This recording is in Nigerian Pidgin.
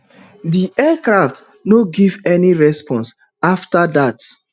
di aircraft no give any response afta dat